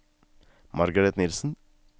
Margareth Nielsen